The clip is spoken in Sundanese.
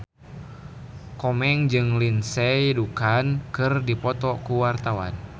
Komeng jeung Lindsay Ducan keur dipoto ku wartawan